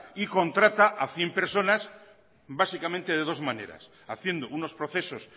y contrata a cien personas básicamente de dos maneras haciendo unos procesos